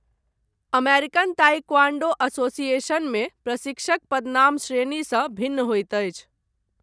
American taekwondo एसोसिएशनमे प्रशिक्षक पदनाम श्रेणीसँ भिन्न होइत अछि।